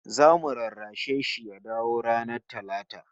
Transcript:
Zamu rarrashe shi ya dawo ranar Talata